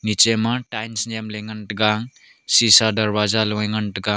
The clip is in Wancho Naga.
niche ma tiles nam ley ngan taiga sisa darwaja logai ngan taiga.